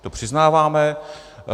To přiznáváme.